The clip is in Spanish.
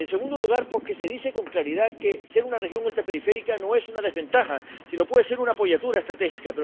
En segundo lugar, porque se dice con claridad que ser una región ultraperiférica no es una desventaja, sino que puede ser un apoyatura estratégica.